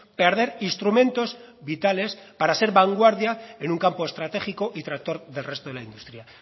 perder instrumentos vitales para ser vanguardia en un campo estratégico y tractor del resto de la industria